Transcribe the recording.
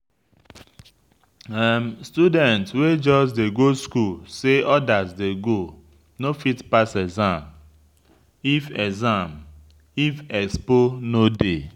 Student wey just dey go school say others dey go no fit pass exam if exam if expo no dey.